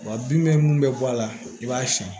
Wa bin bɛ mun bɛ bɔ a la i b'a siyɛn